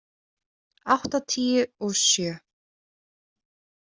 áttatíu og sjö.